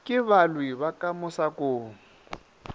ke balwi ba ka mosakong